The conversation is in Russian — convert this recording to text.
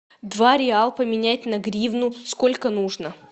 два реал поменять на гривну сколько нужно